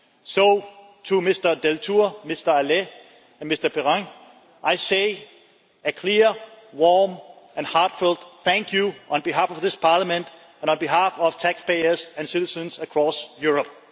So to Mr Deltour, Mr Halet and Mr Perrin, I say a clear, warm and heartfelt thank you on behalf of this Parliament and on behalf of taxpayers and citizens across Europe.